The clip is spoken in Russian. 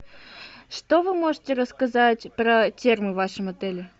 что вы можете рассказать про термо в вашем отеле